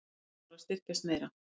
Krónan þarf að styrkjast meira